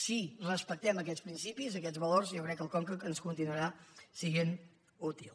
si respectem aquests principis aquests valors jo crec que el conca ens continuarà sent útil